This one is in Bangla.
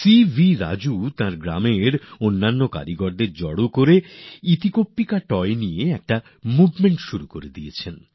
সিবি রাজু এখন এই খেলনা তৈরির জন্য গ্রামের কারিগরদের নিয়ে একদিক থেকে মুভমেন্ট বা আন্দোলন শুরু করে দিয়েছেন